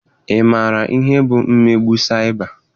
Ị maara ihe bụ mmegbu saịba?